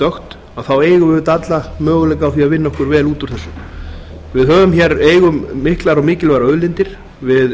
dökkt þá eigum við auðvitað alla möguleika á því að vinna okkur vel út úr þessu við eigum hér miklar og mikilvægar auðlindir við